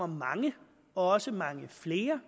mange også mange flere